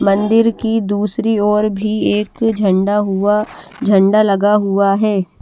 मंदिर की दूसरी और भी एक झंडा हुआ झंडा लगा हुआ है।